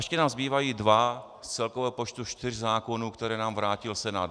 Ještě nám zbývají dva z celkového počtu 4 zákonů, které nám vrátil Senát.